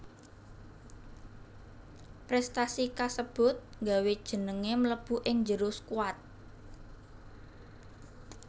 Prestasi kasebut nggawé jengengé mlebu ing njero skuat